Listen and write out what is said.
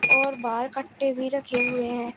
और बाहर कट्टे भी रखे हुए हैं।